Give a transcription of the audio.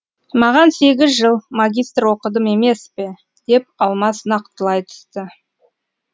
маған сегіз жыл магистр оқыдым емес пе деп алмас нақтылай түсті